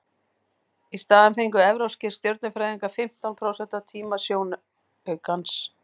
í staðinn fengu evrópskir stjörnufræðingar fimmtán prósent af tíma sjónaukans